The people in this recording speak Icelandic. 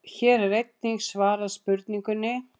Hér var einnig svarað spurningunni: